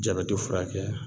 Jabɛti furakɛ